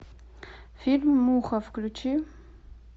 фильм муха включи